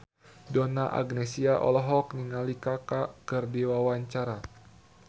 Donna Agnesia olohok ningali Kaka keur diwawancara